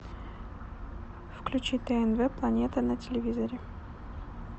включи тнв планета на телевизоре